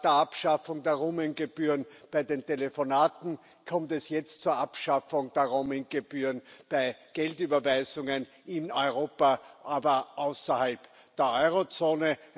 Nach der Abschaffung der Roaming Gebühren bei den Telefonaten kommt es jetzt zur Abschaffung der Roaming Gebühren bei Geldüberweisungen in Europa, aber außerhalb der Eurozone.